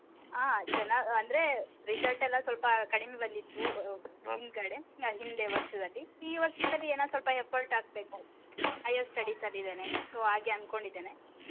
ಆ ಚನ್ನಾಗ್ ಅಂದ್ರೆ result ಎಲ ಸ್ವಲ್ಪ ಕಡಿಮೆ ಬಂದಿತ್ತು ಹಿಂದೆ ವರ್ಷದಲ್ಲಿ ಈ ವರ್ಷದಲ್ಲಿ ಏನೊ ಸ್ವಲ್ಪ effort ಹಾಕ್ಬೇಕು. Higher studies ಅಲ್ಲಿ ಇದೇನೇ so ಹಾಗೆ ಅನ್ಕೊಂಡಿದ್ದೇನೆ.